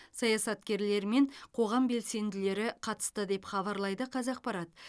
саясаткерлер мен қоғам белсенділері қатысты деп хабарлайды қазақпарат